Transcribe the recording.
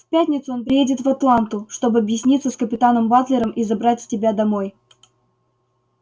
в пятницу он приедет в атланту чтобы объясниться с капитаном батлером и забрать тебя домой